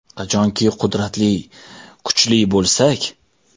Qachonki qudratli, kuchli bo‘lsak.